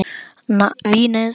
NASA- Venus.